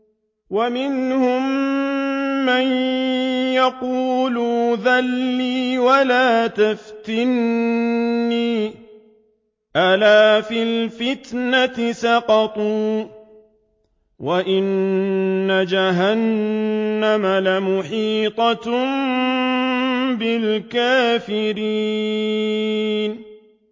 وَمِنْهُم مَّن يَقُولُ ائْذَن لِّي وَلَا تَفْتِنِّي ۚ أَلَا فِي الْفِتْنَةِ سَقَطُوا ۗ وَإِنَّ جَهَنَّمَ لَمُحِيطَةٌ بِالْكَافِرِينَ